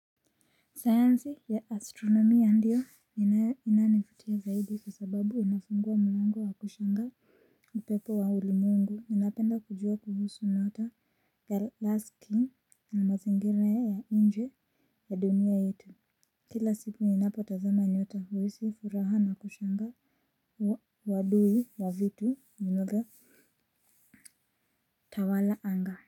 Sayansi ya astronomia ndiyo inayonivutia zaidi kwa sababu inafungua miungu wa kushangaza. Upepo wa uli mungu ninapenda kujua kuhusu nyota ya la skin na mazingira ya inje ya dunia yetu. Kila siku inapo tazama nyota huhisi furaha na kushanga wadui wa vitu njimoga. Tawala anga.